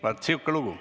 Vaat sihuke lugu.